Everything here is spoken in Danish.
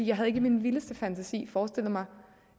jeg havde ikke i min vildeste fantasi forestillet mig